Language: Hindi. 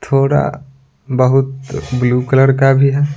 थोड़ा बहुत ब्लू कलर का भी है।